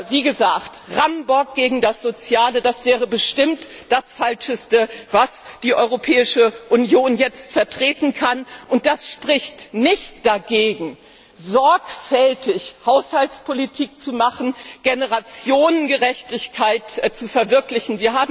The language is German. Wie gesagt, ein Rammbock gegen das Soziale, das wäre bestimmt das Falscheste, was die Europäische Union jetzt vertreten kann, doch das spricht nicht dagegen, sorgfältig Haushaltspolitik zu machen, Generationengerechtigkeit zu verwirklichen.